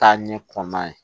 Taa ɲɛ kɔn ye